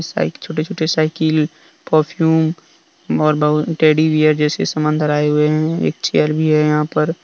इस साइड छोटे छोटे साइकिल परफ्यूम और बहुत टेडी बियर जैसे सामान धाराएं हुए हैं एक चेयर भी है यहां पर।